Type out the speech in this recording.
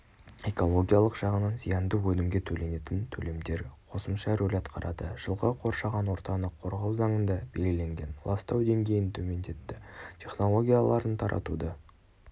экологиялық жағынан зиянды өнімге төленетін төлемдер қосымша рөл атқарады жылғы қоршаған ортаны қорғау заңында белгіленген ластау деңгейін төмендеті технологияларын таратуды